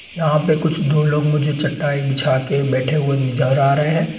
यहाँं पे कुछ दो लोग मुझे चटाई बिछा के बैठे हुए नजर आ रहे हैं।